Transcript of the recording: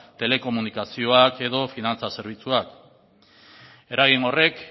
telekomunikazioak edo finantza zerbitzuak eragin horrek